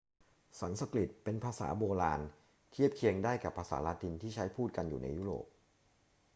สันสกฤตเป็นภาษาโบราณ เทียบเคียงได้กับภาษาละตินที่ใช้พูดกันอยู่ในยุโรป